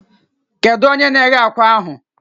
Kedu onye na-eghe akwa ahụ?